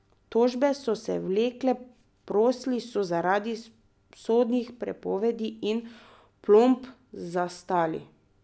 Tožbe so se vlekle, posli so zaradi sodnih prepovedi in plomb zastali.